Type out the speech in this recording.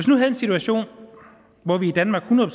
nu havde en situation hvor vi i danmark hundrede